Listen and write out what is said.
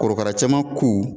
Korokara cɛman ku.